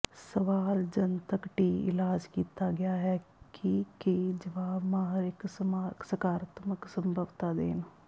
ਸਵਾਲ ਜਨਤਕ ਟੀ ਇਲਾਜ ਕੀਤਾ ਗਿਆ ਹੈ ਕਿ ਕੀ ਜਵਾਬ ਮਾਹਰ ਇੱਕ ਸਕਾਰਾਤਮਕ ਸੰਭਵਤਾ ਦੇਣ